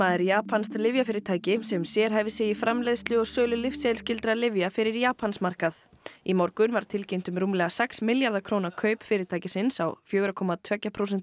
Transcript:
er japanskt lyfjafyrirtæki sem sérhæfir sig í framleiðslu og sölu lyfseðilsskyldra lyfja fyrir Japansmarkað í morgun var tilkynnt um rúmlega sex milljarða króna kaup fyrirtækisins á fjóra komma tvö prósent